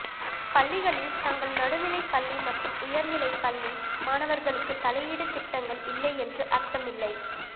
பள்ளிகளில் தங்கள் நடுநிலை பள்ளி மற்றும் உயர்நிலை பள்ளி மாணவர்களுக்கு தலையீடு திட்டங்கள் இல்லை என்று அர்த்தம் இல்லை